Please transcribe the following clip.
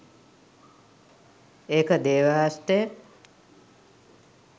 ඒක 'දේව හස්තය'!